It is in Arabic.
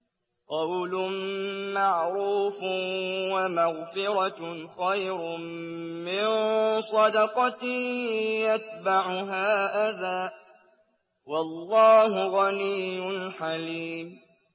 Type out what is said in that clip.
۞ قَوْلٌ مَّعْرُوفٌ وَمَغْفِرَةٌ خَيْرٌ مِّن صَدَقَةٍ يَتْبَعُهَا أَذًى ۗ وَاللَّهُ غَنِيٌّ حَلِيمٌ